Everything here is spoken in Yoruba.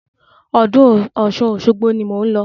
Ọdún Ọ̀ṣun Òṣogbo ni mò ń lọ.